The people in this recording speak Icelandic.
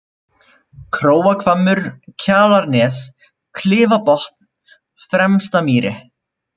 Króahvammur, Kjalarnes, Klifabotn, Fremstamýri